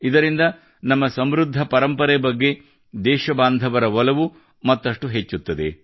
ಇದರಿಂದ ನಮ್ಮ ಸಮೃದ್ಧ ಪರಂಪರೆ ಬಗ್ಗೆ ದೇಶಬಾಂಧವರ ಒಲವು ಮತ್ತಷ್ಟು ಹೆಚ್ಚುತ್ತದೆ